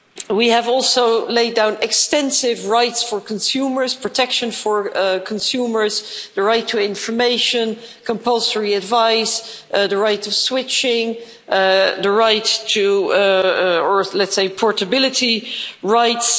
We have also laid down extensive rights for consumers, protection for consumers, the right to information, compulsory advice, the right to switching, the right to, let's say, portability rights